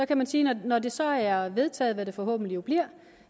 kan sige at når det så er vedtaget hvad det forhåbentlig bliver